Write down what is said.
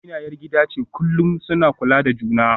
Amina ‘yar gida ce, kullum suna kula da juna.